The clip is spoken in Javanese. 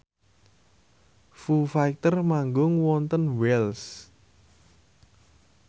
Foo Fighter manggung wonten Wells